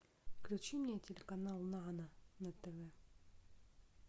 включи мне телеканал нано на тв